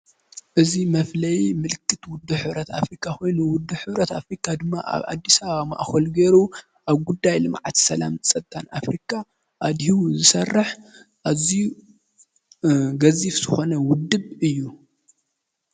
እዚ መፍለይ ምልክት ውድብ ሕብረት ኣፍሪካ ኮይኑ ውድብ ሕብረት ኣፍሪካ ድማ ኣብ ኣዲስኣበባ ማእከሉ ገይሩ ኣብ ጉዳይ ልምዓት፣ ሰላምን ፀጥታን ኣፍሪካ ኣድሂቡ ዝሰርሕ ኣዝዩ ገዚፍ ዝኮነ ውድብ እዩ።